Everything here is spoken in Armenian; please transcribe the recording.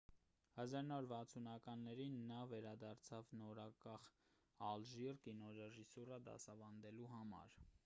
1960-ականներին նա վերադարձավ նորանկախ ալժիր կինոռեժիսուրա դասավանդելու համար